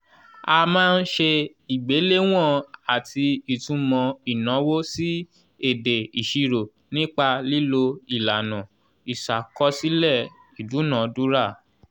a máa ń ṣe ìgbéléwọ̀n àti ìtumò ìnáwó sí èdè ìṣirò nípa lílo ìlànà ìṣàkọsílẹ̀ ìdúnadúrà